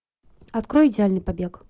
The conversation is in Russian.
открой идеальный побег